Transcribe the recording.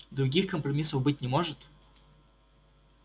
других компромиссов быть не может